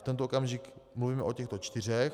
V tento okamžik mluvíme o těchto čtyřech.